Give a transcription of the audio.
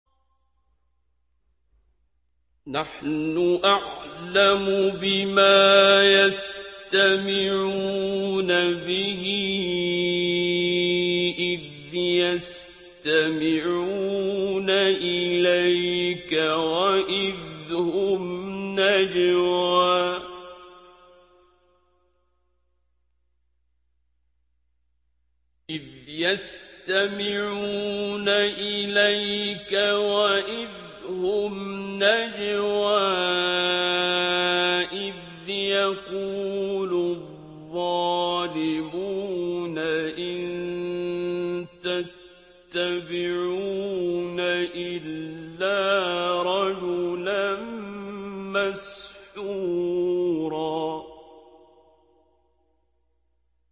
نَّحْنُ أَعْلَمُ بِمَا يَسْتَمِعُونَ بِهِ إِذْ يَسْتَمِعُونَ إِلَيْكَ وَإِذْ هُمْ نَجْوَىٰ إِذْ يَقُولُ الظَّالِمُونَ إِن تَتَّبِعُونَ إِلَّا رَجُلًا مَّسْحُورًا